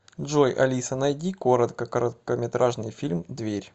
джой алиса найди коротко короткометражный фильм дверь